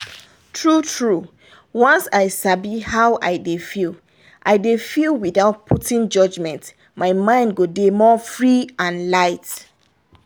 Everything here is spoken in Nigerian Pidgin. true-true once i sabi how i dey feel i dey feel without putting judgment my mind go dey more free and light